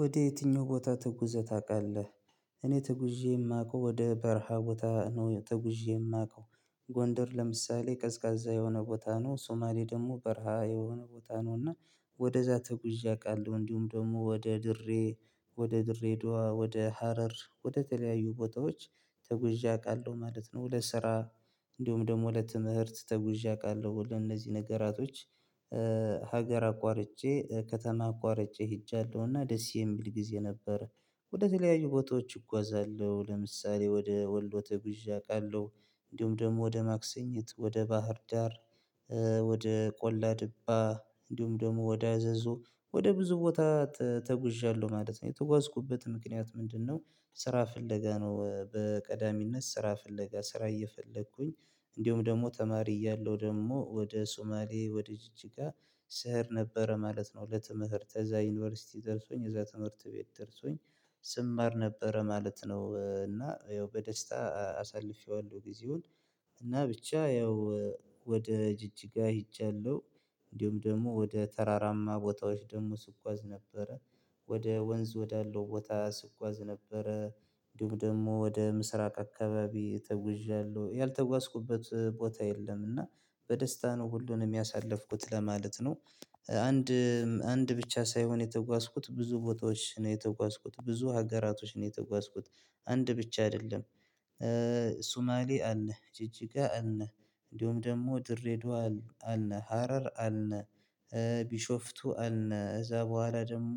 ወደ የትኛው ቦታ ትጉዘህ ታውቃለህ? እኔ ትጉዤ የማውቀው ወደ በረሃ ቦታ ነው ትጉዤ የማውቀው። ጎንደር ለምሳሌ ቀዝቃዛ የሆነ ቦታ ነው ሶማሌ ደግሞ በረሃ የሆነ ቦታ ነው። እና ወደዛ ተጉዤ አውቃለሁ እንዲሁም ደግሞ ወደ ድሬ ወደ ድሬዳዋ ወደ ሀረር ወደተለያዩ ቦታዎች ተጉዤ አውቃለሁ ማለት ነው። ሁለት ስራ እንደሁም ደግሞ ለትምህርት ተጉዤ አውቃለሁ ለእነዚህ ነገራቶች። ሀገር አቋርጬ ከተማ አቋርጬ ሄጃለሁና ደስ የሚል ጊዜ ነበር። ወደ ተለያዩ ቦታዎች እጓዛለሁ ለምሳሌ ወደ ወሎ ተጉዤ አውቃለሁ። እንዲሁም ደግሞ ወደ ማክሰኝት ወደ ባህር ዳር። ወደ ቆላ ድባ እንዲሁም ደግሞ ወደ አዘዞ ወደ ብዙ ቦታ ተጉዣለሁ ማለት ነው። የተጓዝኩበት ምክንያት ምንድነው? ስራ ፍለጋ ነው። በቀዳሚነት ስራ ፍለጋ ስራ እየፈለኩኝ እንዲሁም ደግሞ ተማሪ እያለሁ ደግሞ ወደ ሶማሌ ወደ ጅጅጋ ስሄድ ነበረ ማለት ነው። ለትምህርት እዛ ዩኒቨርሲቲ ደርሶኝ እዛ ትምህርት ቤት ደርሶኝ ስማር ነበረ ማለት ነው። እና ያው በደስታ አሳልፌዋለሁ ጊዜውን። እና ብቻ ያው ወደ ጅጅጋ ሄጃለሁ። እንዲሁም ደግሞ ወደ ተራራማ ቦታዎች ደግሞ ስጓዝ ነበረ። ወደ ወንዝ ወዳለው ቦታ ስጓዝ ነበረ። እንዲሁም ደግሞ ወደ ምስራቅ አካባቢ ተጉዣለሁ ያልተጓዝኩበት ቦታ የለም። እና በደስታ ነው ሁሉንም ያሳለፍኩት ለማለት ነው። አንድ አንድ ብቻ ሳይሆን የተጓዝኩት ብዙ ቦታዎች ነው የተጓዝኩት ብዙ ሀገራቶች ነው የተጓዝኩት። አንድ ብቻ አይደለም። ሱማሌ አለ ጅጅጋ አለ እንዲሁም ደግሞ ድሬደዋ አለ ሀረር አለ። ቢሾፍቱ አለ እዛ በኋላ ደግሞ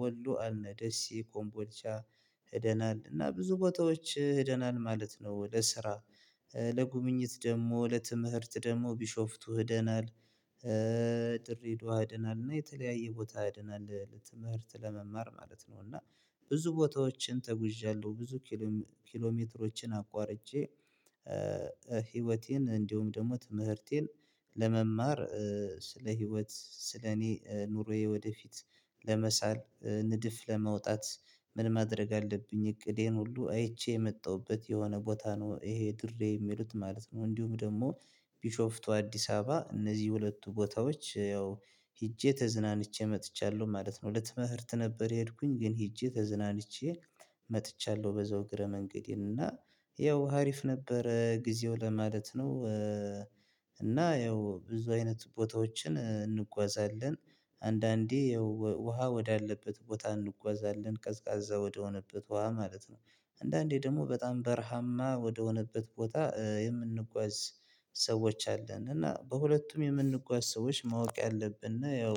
ወሎ አለ ደሴ ኮምቦርቻ ሄደናል እና ብዙ ቦታዎች ሄደናል ማለት ነው። ለስራ ለጉብኝት ደግሞ ለትምህርት ደግሞ ቢሾፍቱ ሄደናል። ድረደዋ ሄደናል እና የተለያየ ቦታ ሄደናል ለትምህርት ለመማር ማለት ነው። እና ብዙ ቦታዎችን ተጉዣለሁ። ብዙ ኪሎ ሜትሮችን አቋርጬ። ህይወቴን እንዲሁ ደግሞ ትምህርቴን ለመማር ስለ ህይወት ስለ እኔ ኑሮዬ ወደፊት ለመሳል ንድፍ ለመውጣት ምን ማድረግ አለብኝ እቅዴን ሁሉ አይቼ የመጣሁበት የሆነ ቦታ ነው። ይሄ ድሬ የሚሉት ማለት ነው። እንዲሁም ደግሞ ቢሾፍቱ አዲስ አበባ እነዚህ ሁለቱ ቦታዎች ያው ሄጄ ተዝናንቼ መጥቻለሁ ማለት ነው። ለትምህርት ነበር የሄድኩኝ ግን ሄጄ ተዝናንቼ መጥቻለሁ በዛው እግረ መንገዴን እና ያው ሀሪፍ ነበረ ጊዜው ለማለት ነው። እና ያው ብዙ አይነት ቦታዎችን እንጓዛለን አንዳንዴ ውሃ ወዳለበት ቦታ እንጓዛለን ቀዝቃዛ ወደሆነበት ውሃ ማለት ነው። አንዳንዴ ደግሞ በጣም በረሃማ ወደሆነበት ቦታ የምንጓዝ ሰዎች አለን። እና በሁለቱም የምንጓዝ ሰዎች ማወቅ ያለብን እና ያው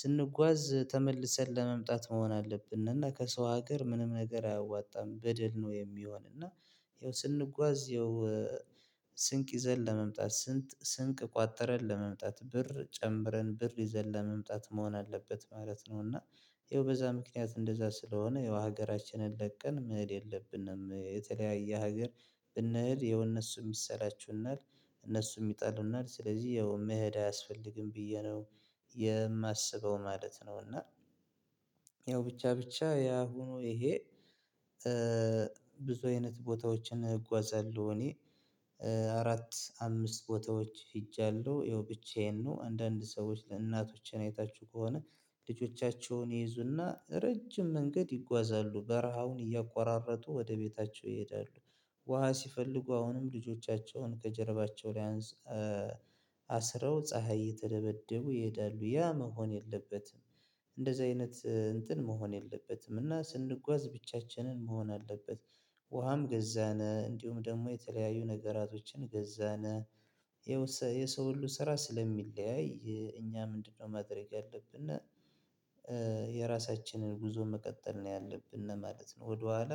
ስንጓዝ ተመልሰን ለመምጣት መሆን አለብን። እና ከሰው ሀገር ምንም ነገር አያዋጣም በደል ነው የሚሆን እና። ያው ስንጓዝ ይኸው ስንቅ ይዘን ለመምጣት ስንት ስንቅ ቋጥረን ለመምጣት ብር ጨምረን ብር ይዘን ለመምጣት መሆን አለበት ማለት ነው። እና ያው በዛ ምክንያት እንደዛ ስለሆነ ያው ሀገራችንን ለቀን መሄድ የለብንም የተለያየ ሀገር ብንሄድ የሆነ እነሱም ይሰላቹናል እነሱም ይጠሉናል ስለዚህ ያው መሄድ አያስፈልግም ብዬ ነው። የማስበው ማለት ነው። እና ያው ብቻ ብቻ ያ ሆኖ ይሄ። ብዙ አይነት ቦታዎችን እጓዛለሁ እኔ አራት አምስት ቦታዎች ሄጃለሁ ያው ብቻዬን ነው። አንዳንድ ሰዎች ለእናቶችን አይታችሁ ከሆነ ልጆቻቸውን ይይዙና ረጅም መንገድ ይጓዛሉ በረሃውን እያቋራረጡ ወደ ቤታቸው ይሄዳሉ። ውሃ ሲፈልጉ አሁንም ልጆቻቸውን ከጀርባቸው ላይ አንስት አስረው ፀሀይ እየተደበደቡ ይሄዳሉ ያ መሆን የለበትም። እንደዚህ አይነት እንትን መሆን የለበትም እና ስንጓዝ ብቻችንን መሆን አለበት። ውሃም ገዛን እንዲሁም ደግሞ የተለያዩ ነገራቶችን ገዛን። የሰው ሁሉ ስራ ስለሚለያይ እኛ ምንድነው? ማድረግ ያለብን እና የራሳችንን ጉዞ መቀጠል ነው ያለብን ማለት ነው። ወደኋላ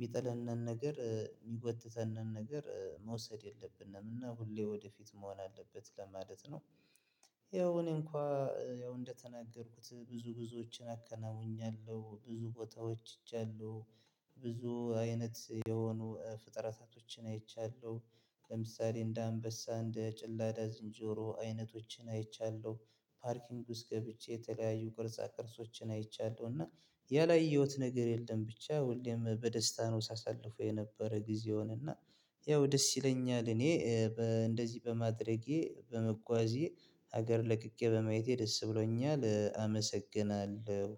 የሚጥለንን ነገር የሚጎትተንን ነገር መውሰድ የለብንም። እና ሁሌ ወደፊት መሆን አለበት ለማለት ነው። ያው እኔ እንኳን ያው እንደተናገርኩት ብዙ ብዙዎችን አከናውኛለሁ ብዙ ቦታዎች ሄጃለሁ። ብዙ አይነት የሆኑ ፍጥረታቶችን አይቻለሁ። ለምሳሌ እንደ አንበሳ እንደ ጭላዳ ዝንጆሮ አይነቶችን አይቻለሁ። ፓርኪንግ ውስጥ ገብቼ የተለያየ ቅርጻ ቅርጾችን አይቻለሁ። እና ያላየሁት ነገር የለም። ብቻ ወይም በደስታ ነው ሳሳልፈው የነበረ ጊዜውን እና። ያው ደስ ይለኛል እኔ እንደዚህ በማድረጌ በመጓዜ ሀገር ለቅቄ በማየቴ ደስ ብሎኛል። አመሰግናለሁ።